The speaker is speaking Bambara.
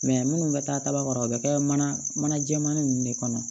minnu bɛ taa kaba kɔrɔ o bɛ kɛ mana mana jɛman ninnu de kɔnɔ